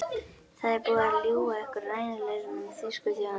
Það er búið að ljúga ykkur rænulausa um þýsku þjóðina.